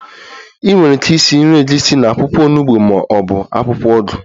Ị nwere ike esi nri egusi na akwụkwọ onugbo ma ọ bụ akwụkwọ ugu